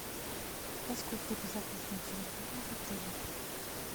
насколько безопасна территория в отеле